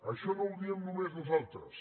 això no ho diem només nosaltres